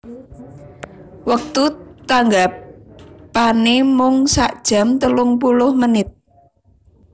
Wektu tanggapanè mung sakjam telungpuluh menit